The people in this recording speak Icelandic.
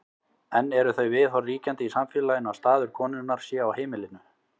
enn eru þau viðhorf ríkjandi í samfélaginu að staður konunnar sé á heimilinu